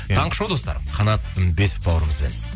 таңғы шоу достар қанат үмбетов бауырымызбен